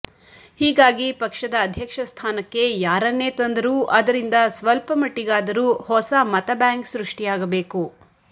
ಹೀಗಾಗಿ ಪಕ್ಷದ ಅಧ್ಯಕ್ಷ ಸ್ಥಾನಕ್ಕೆ ಯಾರನ್ನೇ ತಂದರೂ ಅದರಿಂದ ಸ್ವಲ್ಪ ಮಟ್ಟಿಗಾದರೂ ಹೊಸ ಮತಬ್ಯಾಂಕ್ ಸೃಷ್ಟಿಯಾಗಬೇಕು